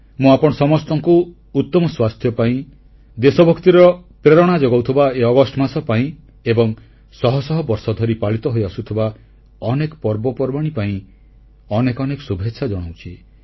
ମୁଁ ଆପଣ ସମସ୍ତଙ୍କୁ ଉତ୍ତମ ସ୍ୱାସ୍ଥ୍ୟ ପାଇଁ ଦେଶଭକ୍ତିର ପ୍ରେରଣା ଯୋଗାଉଥିବା ଏହି ଅଗଷ୍ଟ ମାସ ପାଇଁ ଏବଂ ଶହ ଶହ ବର୍ଷ ଧରି ପାଳିତ ହୋଇଆସୁଥିବା ଅନେକ ପର୍ବପର୍ବାଣୀ ପାଇଁ ଅନେକ ଅନେକ ଶୁଭେଚ୍ଛା ଜଣାଉଛି